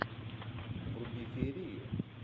вруби феерию